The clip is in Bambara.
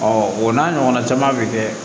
o n'a ɲɔgɔnna caman bɛ kɛ